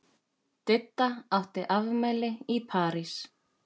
Didda átti afmæli í París.